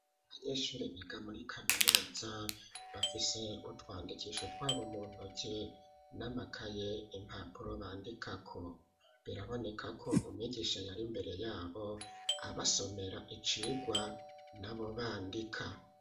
Abanyeshuri biga muri kaminuza bafise utwandikisho twabo mu ntoke n'amakaye impapuro bandikako, biraboneka ko umwigisha yari imbere yabo abasomera icigwa nabo bandika.